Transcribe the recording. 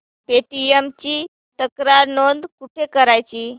Paytm ची तक्रार नोंदणी कुठे करायची